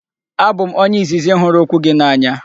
Abụ m onye izizi hụrụ okwu gị n'anya.